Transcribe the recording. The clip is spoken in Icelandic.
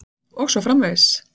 Og svo framvegis.